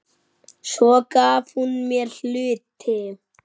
Svo gaf hún mér hluti.